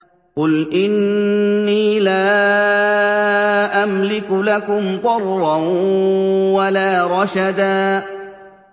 قُلْ إِنِّي لَا أَمْلِكُ لَكُمْ ضَرًّا وَلَا رَشَدًا